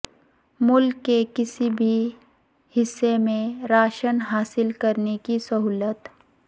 ملک کے کسی بھی حصہ میں راشن حاصل کرنے کی سہولت